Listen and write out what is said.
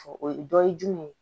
O ye dɔ ye jumɛn ye